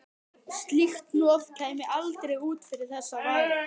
Slíkt hnoð kæmi aldrei út fyrir þess varir.